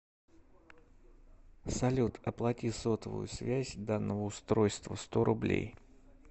салют оплати сотовую связь данного устройства сто рублей